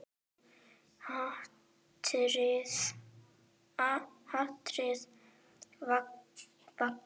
Hatrið vakir.